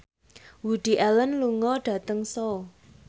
Woody Allen lunga dhateng Seoul